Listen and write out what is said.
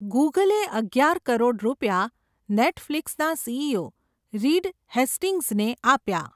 ગૂગલે અગ્યાર કરોડ રૂપિયા, નેટ ફલીકસના સીઈઓ, રીડ હેસ્ટિંગ્ઝને આપ્યા.